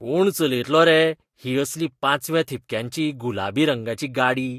कोण चलयतलो रे ही असली पांचव्या थिपक्यांची गुलाबी रंगाची गाडी?